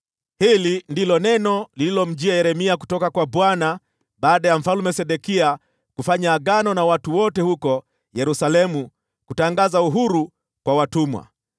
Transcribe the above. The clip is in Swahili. Hili ndilo neno lililomjia Yeremia kutoka kwa Bwana , baada ya Mfalme Sedekia kufanya agano na watu wote huko Yerusalemu ili kutangaza uhuru kwa watumwa.